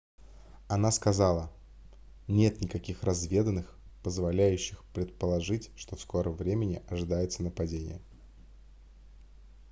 она сказала нет никаких разведданных позволяющих предположить что в скором времени ожидается нападение